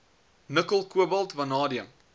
nikkel kobalt vanadium